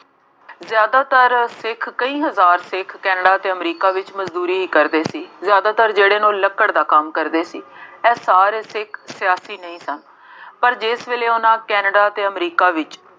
ਜ਼ਿਆਦਾਤਰ ਸਿੱਖ ਕਈ ਹਜ਼ਾਰ ਸਿੱਖ ਕੇਨੈਡਾ ਅਤੇ ਅਮਰੀਕਾ ਵਿੱਚ ਮਜ਼ਦੂਰੀ ਹੀ ਕਰਦੇ ਸੀ। ਜ਼ਿਆਦਾਤਰ ਜਿਹੜੇ ਲੋਕ ਲੱਕੜ ਦਾ ਕੰਮ ਕਰਦੇ ਸੀ। ਇਹ ਸਾਰੇ ਸਿੱਖ ਸਿਆਸੀ ਨਹੀਂ ਸਨ। ਪਰ ਜਿਸ ਵੇਲੇ ਉਹਨਾ ਕੇਨੈਡਾ ਅਤੇ ਅਮਰੀਕਾ ਵਿੱਚ